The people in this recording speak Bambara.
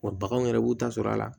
Wa baganw yɛrɛ b'u ta sɔrɔ a la